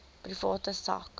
private sak